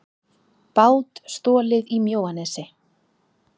Bát stolið í Mjóanesi